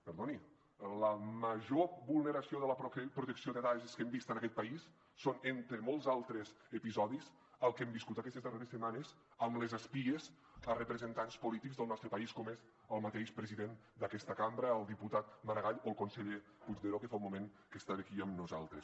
perdoni la major vulneració de la protecció de dades que hem vist en aquest país són entre molts altres episodis el que hem viscut aquestes darreres setmanes amb les espies a representants polítics del nostre país com és el mateix president d’aquesta cambra el diputat maragall o el conseller puigneró que fa un moment que estava aquí amb nosaltres